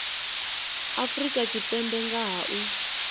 afrika tshipembe nga ha u